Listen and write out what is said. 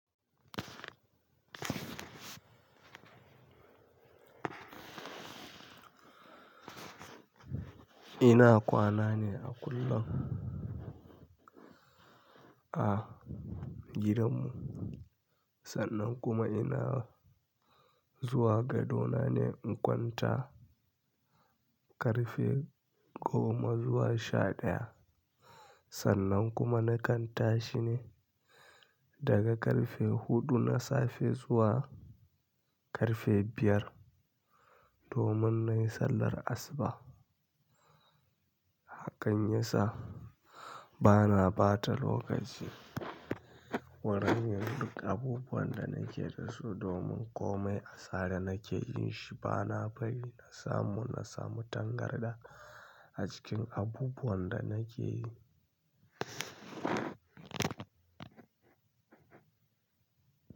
Ina kwana ne a kullum, a gidanmu. Sannan kuma ina zuwa gado na ne in kwanta ƙarfe goma zuwa sha ɗaya. Sannan kuma na kanta shi ne daga ƙarfe huɗu na safe zuwa ƙarfe biyar, domin na yi sallar asuba. Hakan yasa bana ɓata lokaci wurin yin duk abubuwan da nake da su domin komai asara nake jin shi. Bana bari na samu na samu tangarɗa a cikin abubuwan da nake yi.